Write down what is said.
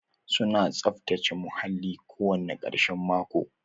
Su na saftace muhalli kowane ƙarshen mako.